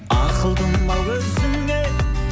ақылдым ау өзіңе